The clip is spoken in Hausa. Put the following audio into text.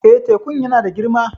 Eh, tekun yana da girma